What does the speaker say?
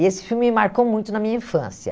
E esse filme me marcou muito na minha infância.